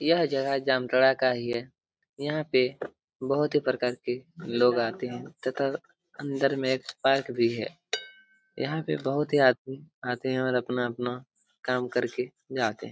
ये जगह जामताड़ा का ही है यहां पे बहुत ही प्रकार के लोग आते है तथा अंदर में एक पार्क भी है यहां पर बहुत ही आदमी आते है और अपना अपना काम करके जाते हैं।